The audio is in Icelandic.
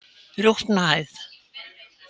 Rjúpnahæð